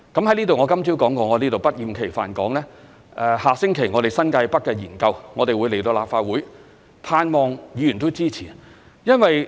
我今早已說過，我在此不厭其煩地說，下星期我們的新界北發展研究會在立法會作討論，盼望議員也會支持。